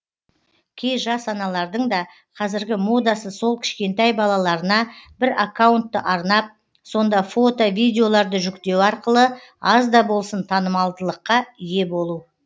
кей жас аналардың да қазіргі модасы сол кішкентай балаларына бір аккаунтты арнап сонда фото видеоларды жүктеу арқылы аз да болсын танымалдылыққа ие болу